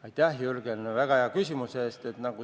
Aitäh, Jürgen, väga hea küsimuse eest!